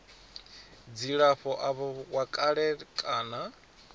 dzilafho avho wa kale kana